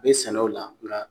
Be sɛnɛ o la nga